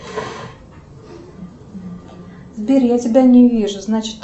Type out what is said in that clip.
сбер я тебя не вижу значит